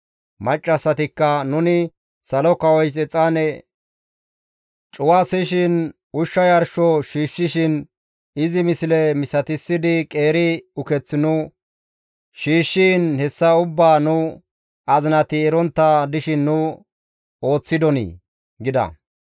Maccassatikka, «Nuni Salo kawoys exaane cuwasishin, ushsha yarsho shiishshiin, izi misle misatissidi qeeri uketh nu shiishshiin hessa ubbaa nu azinati erontta dishin nu ooththidonii?» gida.